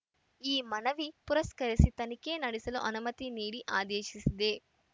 ಈ ಮನವಿ ಪುರಸ್ಕರಿಸಿ ತನಿಖೆ ನಡೆಸಲು ಅನುಮತಿ ನೀಡಿ ಆದೇಶಿಸಿದೆ